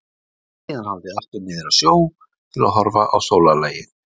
Síðan haldið aftur niður að sjó til að horfa á sólarlagið.